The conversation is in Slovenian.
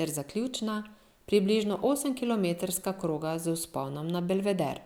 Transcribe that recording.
ter zaključna, približno osemkilometrska kroga z vzponom na Belveder.